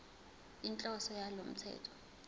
inhloso yalo mthetho